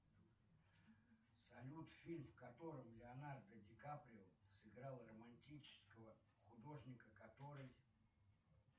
салют фильм в котором леонардо ди каприо сыграл романтического художника который